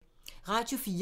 Radio 4